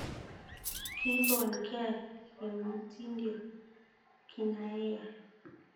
'Kigon ge', kimotindio kineayae.